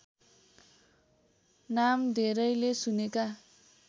नाम धेरैले सुनेका